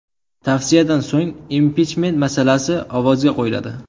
Tavsiyadan so‘ng impichment masalasi ovozga qo‘yiladi.